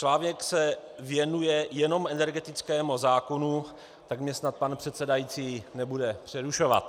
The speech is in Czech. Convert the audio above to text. Článek se věnuje jenom energetickému zákonu, tak mě snad pan předsedající nebude přerušovat.